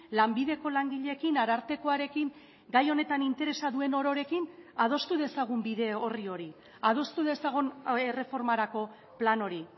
lanbideko langileekin arartekoarekin gai honetan interesa duen ororekin adostu dezagun bide orri hori adostu dezagun erreformarako plan hori